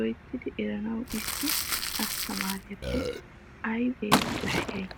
loyttidi eranawu issi asttamaariyappe aybe koshiyay?